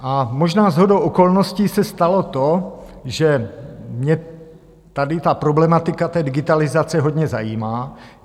A možná shodou okolností se stalo to, že mě tady ta problematika té digitalizace hodně zajímá.